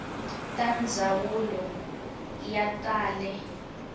ta ndzawulo ya ta le